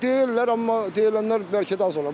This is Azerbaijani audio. Deyirlər, amma deyilənlər bəlkə də az olur.